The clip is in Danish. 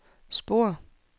spor